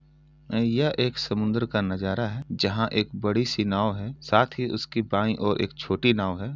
यह एक समुन्दर का नज़ारा है जहाँ एक बड़ी-सी नाव है। साथ ही उसकी बाई और एक छोटी नाव है।